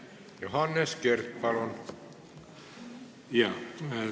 Johannes Kert, palun!